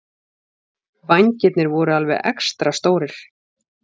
Vængirnir voru alveg extra stórir.